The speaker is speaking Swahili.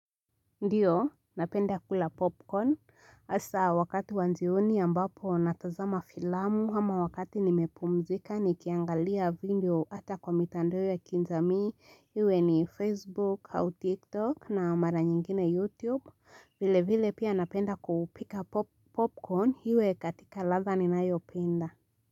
Ndiyo napenda kula popcorn sasa wakati wa jioni ambapo natazama filamu ama wakati nimepumzika nikiangalia video hata kwa mitandao ya kijamii iwe ni facebook au tiktok na mara nyingine youtube vile vile pia napenda kupika popcorn hiwe katika ladha ninayo penda.